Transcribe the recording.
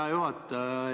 Hea juhataja!